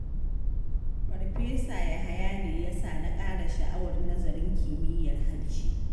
Farfesa Yahaya ne ya sa na ƙara sha'awar nazarin kimiyyar harshe.